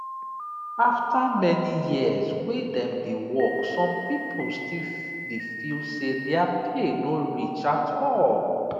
after many years wey dem dey work some people still dey feel say their pay no reach at all